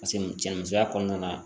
Paseke cɛ musoya kɔnɔna na